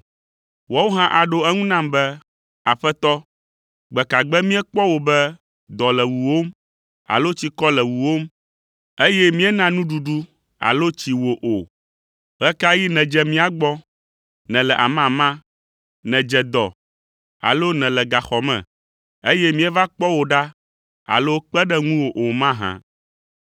“Woawo hã aɖo eŋu nam be, ‘Aƒetɔ, gbe ka gbe míekpɔ wò be, dɔ le wuwòm, alo tsikɔ le wuwòm, eye míena nuɖuɖu alo tsi wò. Ɣe ka ɣi nèdze mía gbɔ, nèle amama, nèdze dɔ alo nèle gaxɔ me, eye míeva kpɔ wò ɖa alo kpe ɖe ŋuwò o mahã’?